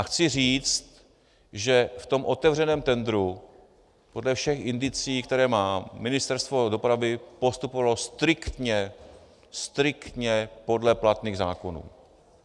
A chci říct, že v tom otevřeném tendru podle všech indicií, které mám, Ministerstvo dopravy postupovalo striktně, striktně podle platných zákonů.